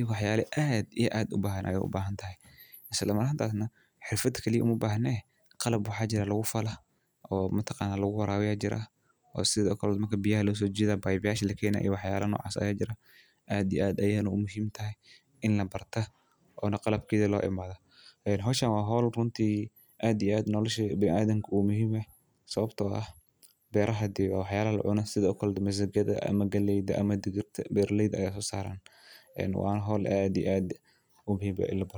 Ibo wax yaali aad iyo aad u baahan ah ayuu u baxan tahay. Isla maranta aadan xirfadkeliya u muu bahane? Qalab waxaa jira lagu fala oo matoqaana lagu waraawiya jira oo sidaakala marka biyaa loo soo jeeda bay bayaasha la keenay iyo waxyaalano cas ayee jira. Aadi aad ayeeyna u muhiim tahay in la barta oo na qalabkii loo imada. Howshan hawl runtii aad iyo aad noloshea binaadanka uu muhiim ah sababtoo ah beeraha diiwaan wax yaalo la cunahay sidii akal misaagada ama galeyda ama digirta beer ladeed ay soo saaraan. Waa in hawl aad iyo aad u muhiim ah in la barto.